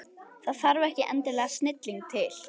Það þarf ekki endilega snilling til.